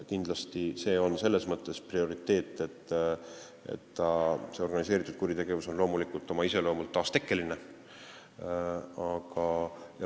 Kindlasti on see selles mõttes prioriteet, et organiseeritud kuritegevus on oma loomult taastekkeline.